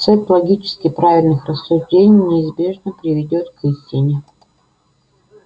цепь логически правильных рассуждений неизбежно приведёт к истине